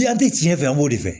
tiɲɛ fɛ an b'o de fɛ